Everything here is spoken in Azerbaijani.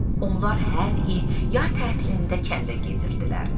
Onlar hər il yay tətilində kəndə gedirdilər.